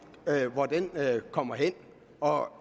kommer hen og